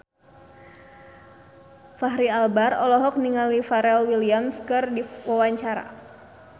Fachri Albar olohok ningali Pharrell Williams keur diwawancara